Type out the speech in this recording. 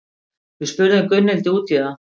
Við spurðum Gunnhildi út í það.